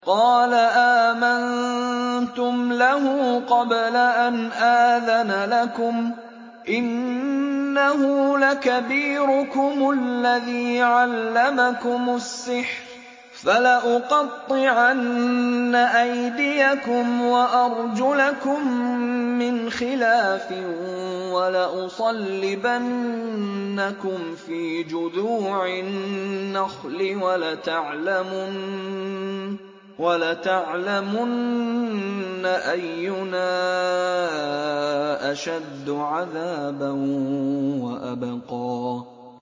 قَالَ آمَنتُمْ لَهُ قَبْلَ أَنْ آذَنَ لَكُمْ ۖ إِنَّهُ لَكَبِيرُكُمُ الَّذِي عَلَّمَكُمُ السِّحْرَ ۖ فَلَأُقَطِّعَنَّ أَيْدِيَكُمْ وَأَرْجُلَكُم مِّنْ خِلَافٍ وَلَأُصَلِّبَنَّكُمْ فِي جُذُوعِ النَّخْلِ وَلَتَعْلَمُنَّ أَيُّنَا أَشَدُّ عَذَابًا وَأَبْقَىٰ